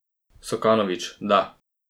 Sokanovič, da.